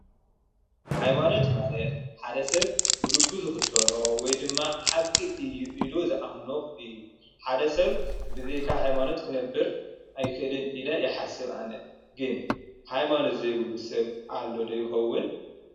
ሃይማኖት ማለት ሓደ ሰብ ብልቡ ዝክተሎ ወይ ድማ ሓቂ እዩ ኢሉ ዝኣምኖ እዩ። ሓደ ሰብ ብዘይካ ሃይማኖት ክነብር ኣይክእልን ኢለ ይሓስብ ።ኣነ ግን ሃይማኖት ዘይብሉ ሰብ ይህሉ ዶ ይከውን?